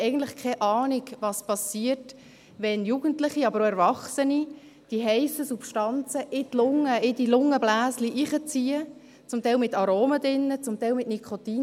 Eigentlich haben wir keine Ahnung, was geschieht, wenn Jugendliche, aber auch Erwachsene, die heissen Substanzen, zum Teil mit Aromen, zum Teil mit Nikotin, in die Lunge, in die Lungenbläschen hineinziehen.